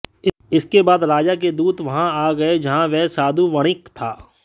इसके बाद राजा के दूत वहाँ आ गये जहां वह साधु वणिक था